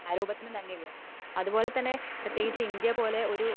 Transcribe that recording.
ഓരോ കലാരൂപത്തിനും തന്നെ ഉള്ളെ അത്പോലെ തന്നെ പ്രത്യേകിച്ച് ഇന്ത്യ പോലുള്ള ഒരു